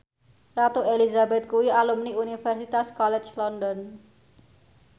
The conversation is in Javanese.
Ratu Elizabeth kuwi alumni Universitas College London